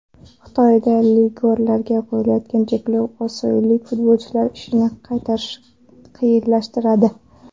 Xitoyda legionerlarga qo‘yilayotgan cheklov osiyolik futbolchilar ishini qiyinlashtiradi.